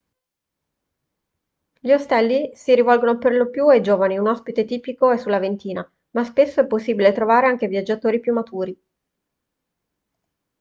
gli ostelli si rivolgono per lo più ai giovani un ospite tipico è sulla ventina ma spesso è possibile trovare anche viaggiatori più maturi